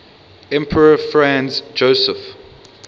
emperor franz joseph